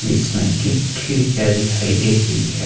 इसमें की खिड़कियां दिखाई दे रही है।